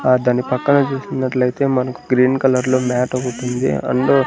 అతని పక్కన చూసుకునట్లయితే మనకు గ్రీన్ కలర్లో మ్యాట్ ఒకటుంది అండు --